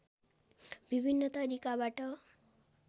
विभिन्न तरिकाबाट